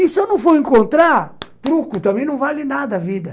E se eu não for encontrar, truco, também não vale nada a vida.